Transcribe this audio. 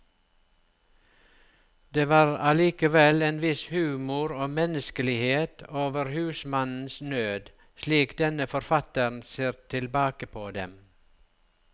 Det var allikevel en viss humor og menneskelighet over husmannens nød, slik denne forfatteren ser tilbake på den.